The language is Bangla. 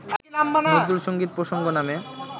নজরুলসংগীত প্রসঙ্গ নামে